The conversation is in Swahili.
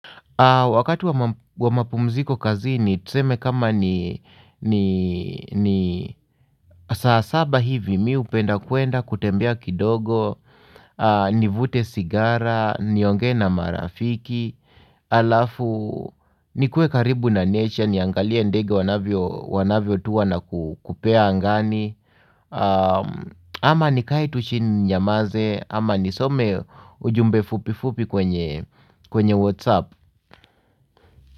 Wakati wa mapumziko kazini tuseme kama ni saa saba hivi mimi hupenda kuenda kutembea kidogo, nivute sigara, niongee na marafiki, alafu nikuwe karibu na nature niangalie ndege wanavyotua na kupea angani, ama nikae tu chini ninyamaze, ama nisome ujumbe fupi fupi kwenye whatsapp.